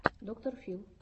доктор фил